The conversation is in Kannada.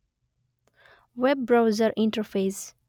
web browser interface